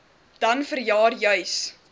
dan vanjaar juis